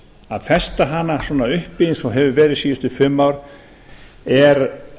að festa hana svona uppi eins og hefur verið síðustu fimm ár er